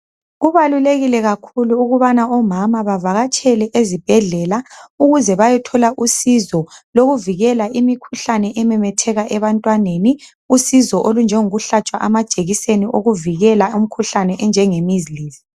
Kubalulekile kakhulu ukubana omama bavakatshele ezibhedlela ukuze bayethola usizo lokuvikela imikhuhlane ememetheka ebantwaneni usizo olunjengo kuhlatshwa amajekiseni okuvikela imikhuhlane enjenge "measles".